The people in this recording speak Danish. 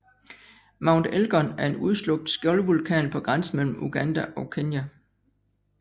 Mount Elgon er en udslukt skjoldvulkan på grænsen mellem Uganda og Kenya